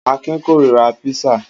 Akin kórira písà.